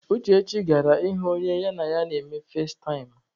Uchechi gara ịhụ onye ya na ya na-eme fazetaịm.